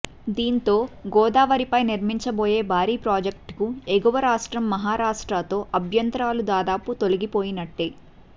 దీంతో గోదావరిపై నిర్మించబోయే భారీ ప్రాజెక్టుకు ఎగువ రాష్ట్రం మహారాష్టత్రో అభ్యంతరాలు దాదాపు తొలిగిపోయినట్టే